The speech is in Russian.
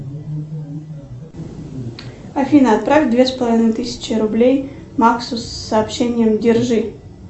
афина отправь две с половиной тысячи рублей максу с сообщением держи